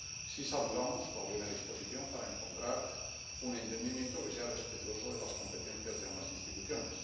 Sí saludamos la buena disposición para encontrar un entendimiento que sea respetuoso de las competencias de ambas instituciones.